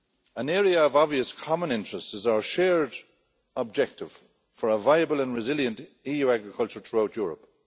An area of obvious common interest is our shared objective for a viable and resilient EU agriculture throughout Europe.